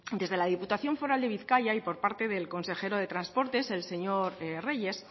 desde la diputación foral de bizkaia y por parte del consejero de transportes el señor reyes